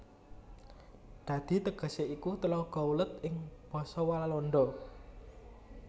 Dadi tegesé iku Tlaga Welut ing basa Walanda